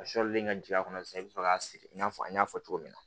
A sɔlilen ka jigin a kɔnɔ sisan i be sɔrɔ k'a siri i n'a fɔ n y'a fɔ cogo min na